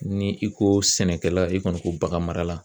Ni i ko sɛnɛkɛla i kɔni ko bagan mara la